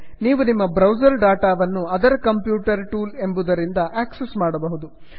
ನೀವು ನಿಮ್ಮ browser data ವನ್ನು ಅದರ್ ಕಂಪ್ಯೂಟರ್ ಟೂಲ್ ಎಂಬುದರಿಂದ ಆಕ್ಸಸ್ ಮಾಡಬಹುದು